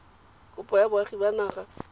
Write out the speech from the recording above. kopo ya boagi ba naga